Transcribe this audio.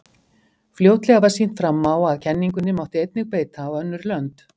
fljótlega var sýnt fram á að kenningunni mátti einnig beita á önnur lönd